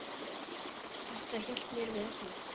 Þetta hélt mér við efnið.